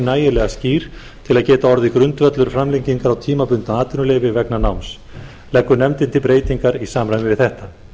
nægilega skýr til að geta orðið grundvöllur framlengingar á tímabundnu atvinnuleyfi vegna náms leggur nefndin til breytingar í samræmi við þetta